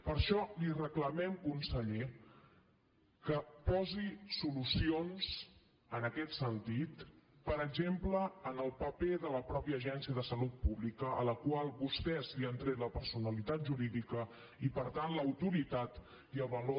per això li reclamem conseller que posi solucions en aquest sentit per exemple en el paper de la mateixa agència de salut pública a la qual vostès li han tret la personalitat jurídica i per tant l’autoritat i el valor